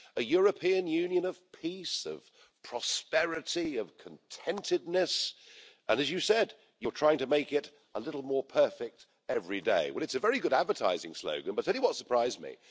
A European Union of peace, of prosperity, of contentedness and, as you said, you're trying to make it a little more perfect every day. Well, it's a very good advertising slogan, but I tell you what surprised me.